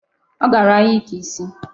Ọ gara ahịa ike isi.